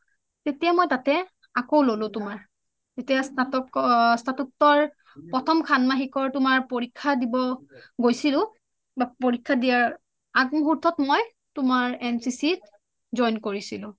তেতিয়া মই তাতে আকৌ ললো তোমাৰ তেতিয়া স্নাতকৰ প্ৰথম শন্মহিকৰ তোমাৰ প্ৰথম পৰীক্ষা দিব গৈছিলো পৰীক্ষা দিয়া আগ মূহুৰ্তত মই তোমাৰ এনচিচি ত join কৰিছিলোঁ